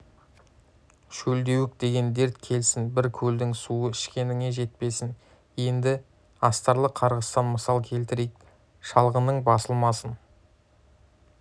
шөлдеуік деген дерт келсін бір көлдің суы ішкеніңе жетпесін енді астарлы қарғыстан мысал келтірейік шалғының басылмасын